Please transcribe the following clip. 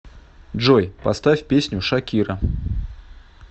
джой поставь песню шакира